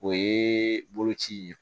O ye boloci ye